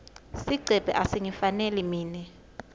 sigcebhe asingifaneli mine